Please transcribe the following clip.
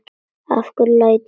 Af hverju læturðu svona Ásta?